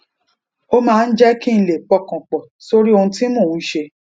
ó máa ń jé kí n lè pọkàn pò sórí ohun tí mò ń ṣe